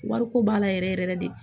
Wariko b'a la yɛrɛ yɛrɛ de